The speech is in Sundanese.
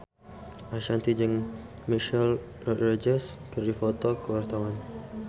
Ashanti jeung Michelle Rodriguez keur dipoto ku wartawan